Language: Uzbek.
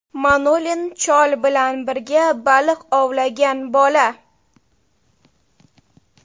Manolin – chol bilan birga baliq ovlagan bola.